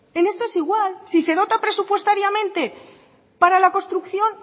en esto es igual si se dota presupuestariamente para la construcción